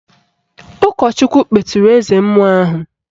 Ụkọchukwu kpeturu eze mmụọ ahụ